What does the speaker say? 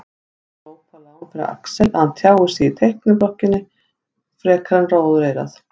Glópalán fyrir Axel að hann tjáir sig í teikniblokkina fremur en móðureyrað.